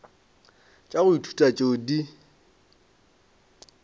tša go ithuta tšeo di